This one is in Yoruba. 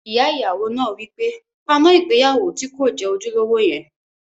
Ìyá ìyàwó náà wí pé, "paná ìgbéyàwó tí kò jẹ́ ojúlówó yẹn!"